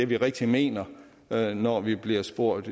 vi rigtigt mener når når vi bliver spurgt